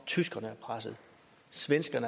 synes jeg da også de seneste